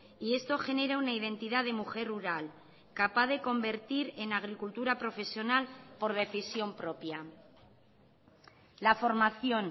y esto genera una identidad de mujer rural capaz de convertir en agricultura profesional por decisión propia la formación